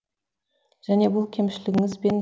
және бұл кемшілігіңіз бен